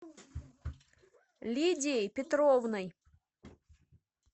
лидией петровной